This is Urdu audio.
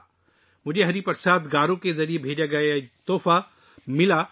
جب مجھے ہری پرساد گارو کا یہ تحفہ ملا تو میرے ذہن میں ایک اور خیال آیا